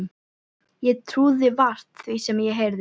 Ég trúði vart því sem ég heyrði.